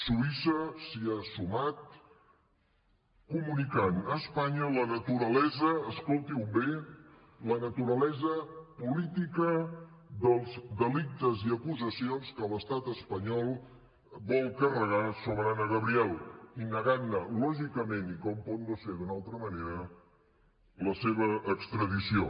suïssa s’hi ha sumat comunicant a espanya la naturalesa escoltin ho bé política dels delictes i acusacions que l’estat espanyol vol carregar sobre anna gabriel i negant ne lògicament i com pot no ser d’una altra manera la seva extradició